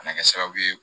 Kana kɛ sababu ye